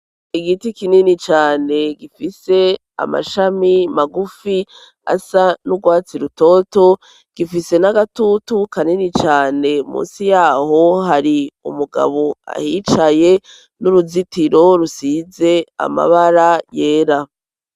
Igiti kinini cane gifise amashami magufi asa n'urwatsi rutoto gifise n'agatutu kanini cane musi yaho hari umugabo ahicaye n'uruzitiro rusize amabara yera.